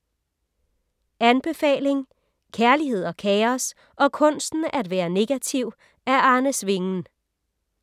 Anbefaling: Kærlighed og kaos – og kunsten at være negativ af Arne Svingen